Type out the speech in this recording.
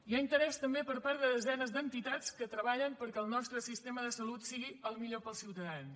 hi ha interès també per part de desenes d’entitats que treballen perquè el nostre sistema de salut sigui el millor per als ciutadans